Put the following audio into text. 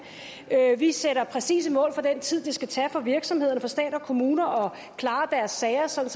at vi sætter præcise mål for den tid det skal tage for virksomhederne og for stat og kommuner at klare deres sager sådan